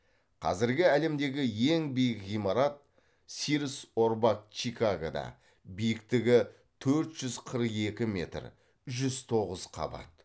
қазіргі әлемдегі ең биік ғимарат сирс орбак чикагода биіктігі төрт жүз қырық екі метр жүз тоғыз қабат